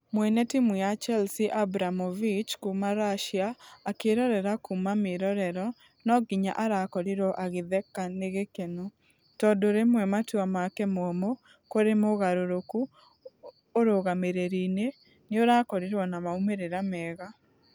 Mwene timũ ya chelsea abramovich kuuma russia akĩrorera kuuma mĩrorero nũ nginya arakorirwo agĩtheka nĩ gĩkeno . Tũndũ rĩmwe matua make mũũmũ kũrĩ mũgarũrũku ũrũgamĩrĩrĩ-inĩ nĩũrakoriwo na maũmerera mega.